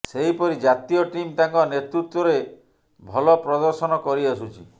ସେହିପରି ଜାତୀୟ ଟିମ୍ ତାଙ୍କ ନେତୃତ୍ୱରେ ଭଲ ପ୍ରଦର୍ଶନ କରି ଆସୁଛି